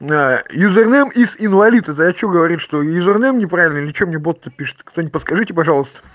на юзернейм ис инвалид это о чём говорит что юзернейм неправильный или что мне бот то пишет кто-нибудь подскажите пожалуйста